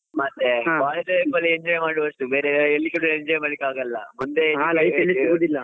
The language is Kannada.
ಮತ್ತೆ college Life ಅಲ್ಲಿ enjoy ಮಾಡುವಷ್ಟು ಬೇರೆ ಎಲ್ಲಿಯೂ ಕೂಡ enjoy ಮಾಡ್ಲಿಕ್ಕೆ ಆಗಲ್ಲ .